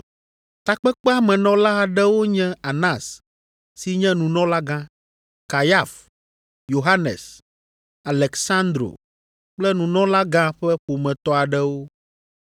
Takpekpea me nɔla aɖewo nye Anas si nye nunɔlagã, Kayafa, Yohanes, Aleksandro kple nunɔlagã ƒe ƒometɔ aɖewo.